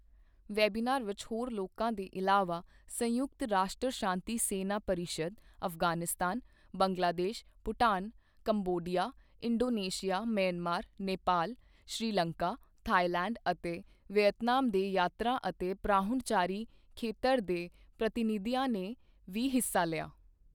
Webinar ਵਿੱਚ ਹੋਰ ਲੋਕਾਂ ਦੇ ਇਲਾਵਾ ਸੰਯੁਕਤ ਰਾਸ਼ਟਰ ਸ਼ਾਂਤੀ ਸੈਨਾ ਪਰਿਸ਼ਦ, Afghanistan, Bangladesh, Bhutan, Cambodia, Indonesia, Myanmar, Nepal, Sri Lanka, Thailand ਅਤੇ ਵਿਅਤਨਾਮ ਦੇ ਯਾਤਰਾ ਅਤੇ ਪਰਾਹੁਣਚਾਰੀ ਖੇਤਰ ਦੇ ਪ੍ਰਤੀਨਿਧੀਆਂ ਨੇ ਵੀ ਹਿੱਸਾ ਲਿਆ।